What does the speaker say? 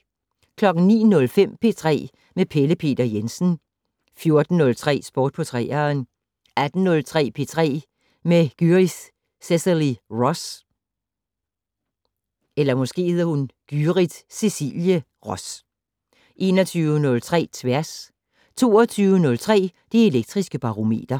09:05: P3 med Pelle Peter Jensen 14:03: Sport på 3'eren 18:03: P3 med Gyrith Cecilie Ross 21:03: Tværs 22:03: Det Elektriske Barometer